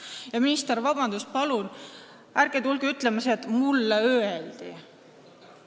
Ja minister, vabandust, palun ärge tulge ütlema, et teile öeldi!